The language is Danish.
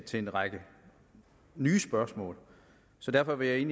til en række nye spørgsmål så derfor vil